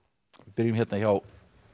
byrjum hjá